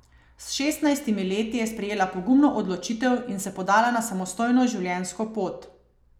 S šestnajstimi leti je sprejela pogumno odločitev in se podala na samostojno življenjsko pot.